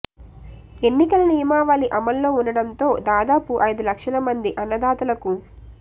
ఎన్నికల నియమావళి అమల్లో ఉండడంతో దాదాపు ఐదు లక్షల మంది అన్నదాతలకు